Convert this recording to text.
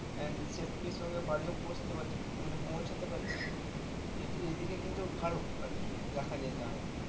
and safety র সঙ্গে বাড়িও পচতে পারছি মানে পৌঁছতে পারছি এই দিক এই দিকে কিন্তু ভালো আর কি যদি দেখা যায় তাহলে